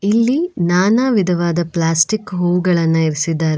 ಇಲ್ಲಿ ನಾನಾ ವಿಧವಾದ ಪ್ಲಾಸ್ಟಿಕ್ ಹೂಗಳನ್ನ ಇರಿಸಿದಾರೆ.